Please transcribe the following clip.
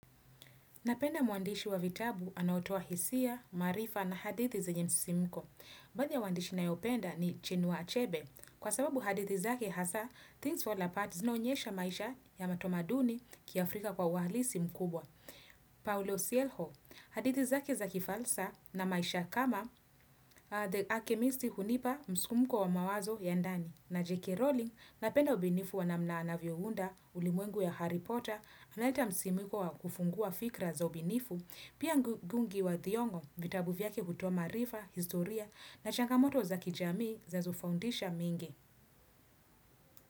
Napenda muandishi wa vitabu anaotoa hisia, maarifa na hadithi zenye msi simko. Baadhi ya waandishi na yopenda ni chinua achebe. Kwa sababu hadithi zake hasa, things fall apart zina onyesha maisha ya matomaduni kia Afrika kwa ualisi mkubwa. Paulo Sielho, hadithi zake za kifalsa na maisha kama The Archimistic hunipa, msisimko wa mawazo ya ndani. Na J.K. Rowling napenda ubinifu wanamna anavyounda ulimwengu ya Harry Potter, anaita msimiko wa kufungua fikra za ubinifu, pia ngungi wa thiong'o vitabu vyake hutoa maarifa, historia na changamoto za kijamii za zofundisha mengi.